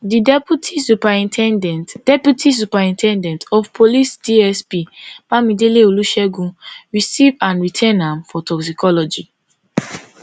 di deputy superin ten dent deputy superin ten dent of police dsp bamidele olusegun receive and retain am for toxicology